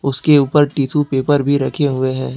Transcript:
उसके ऊपर tissue paper भी रखे हुए हैं।